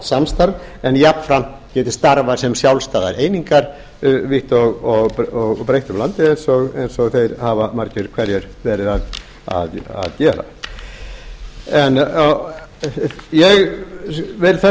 samstarf en geti jafnframt starfað sem sjálfstæðar einingar vítt og breitt um landið eins og þeir hafa margir hverjir verið að gera ég vil þess